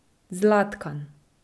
Zlatkan.